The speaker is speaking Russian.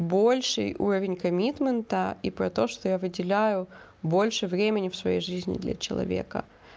больший уровень комитмента и про то что я выделяю больше времени в своей жизни для человека